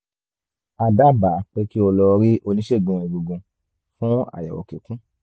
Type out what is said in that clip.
a dábàá pé kí o lọ rí oníṣègùn egungun fún àyẹ̀wò kíkún